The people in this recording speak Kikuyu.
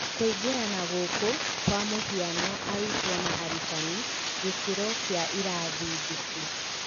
Kũingĩrana gũkũ, kwa mũhiano, arutwo ' na arutani ' gĩkĩro kĩa irathi ndĩku